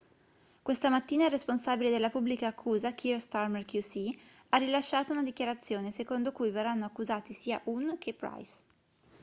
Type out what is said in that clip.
questa mattina il responsabile della pubblica accusa kier starmer qc ha rilasciato una dichiarazione secondo cui verranno accusati sia huhne che pryce